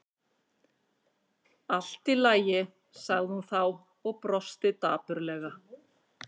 Allt í lagi- sagði hún þá og brosti dapurlega.